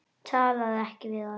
Talaðu ekki við hann.